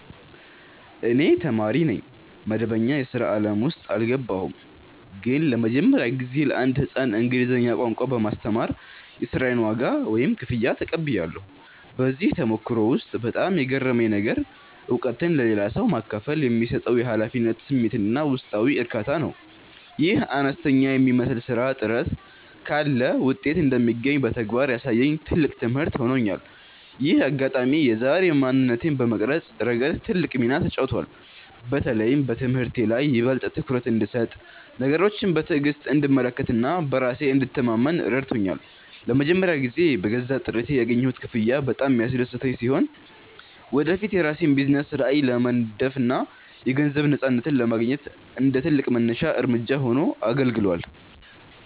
እኔ ተማሪ ነኝ፣ መደበኛ የሥራ ዓለም ውስጥ አልገባሁም። ግን ለመጀመሪያ ጊዜ ለአንድ ሕፃን እንግሊዝኛ ቋንቋ በማስተማር የሥራዬን ዋጋ (ክፍያ) ተቀብያለሁ። በዚህ ተሞክሮ ውስጥ በጣም የገረመኝ ነገር፣ እውቀትን ለሌላ ሰው ማካፈል የሚሰጠው የኃላፊነት ስሜትና ውስጣዊ እርካታ ነው። ይህ አነስተኛ የሚመስል ሥራ ጥረት ካለ ውጤት እንደሚገኝ በተግባር ያሳየኝ ትልቅ ትምህርት ሆኖኛል። ይህ አጋጣሚ የዛሬ ማንነቴን በመቅረጽ ረገድ ትልቅ ሚና ተጫውቷል። በተለይም በትምህርቴ ላይ ይበልጥ ትኩረት እንድሰጥ፣ ነገሮችን በትዕግሥት እንድመለከትና በራሴ እንድተማመን ረድቶኛል። ለመጀመሪያ ጊዜ በገዛ ጥረቴ ያገኘሁት ክፍያ በጣም ያስደሰተኝ ሲሆን፣ ወደፊት የራሴን የቢዝነስ ራዕይ ለመንደፍና የገንዘብ ነፃነትን ለማግኘት እንደ ትልቅ መነሻ እርምጃ ሆኖ አገልግሏል።